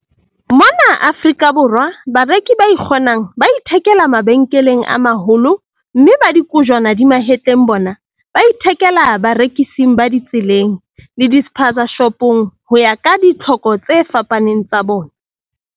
Mona Afrika Borwa, bareki ba ikgonang ba ithekela mabenkeleng a maholo, mme ba dikojwana di mahetleng bona ba ithekela barekising ba ditseleng, le di-spazashopong ho ya ka ditlhoko tse fapaneng tsa bona.